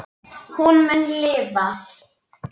Hún mun lifa.